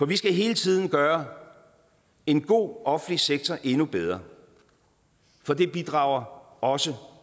vi skal hele tiden gøre en god offentlig sektor endnu bedre for det bidrager også